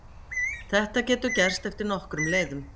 Þetta getur gerst eftir nokkrum leiðum.